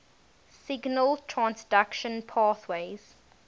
signal transduction pathways